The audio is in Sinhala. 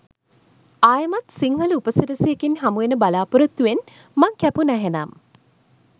ආයෙමත් සිංහල උපසිරැසියකින් හමු වෙන බලාපොරොත්තුවෙන් මං කැපුනා එහෙනම්.